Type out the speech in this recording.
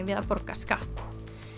við að borga skatt